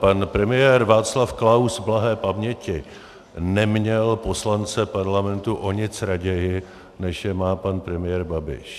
Pan premiér Václav Klaus blahé paměti neměl poslance parlamentu o nic raději, než je má pan premiér Babiš.